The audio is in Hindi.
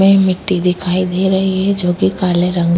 मिट्टी दिखाई दे रही है जो कि काले रंग --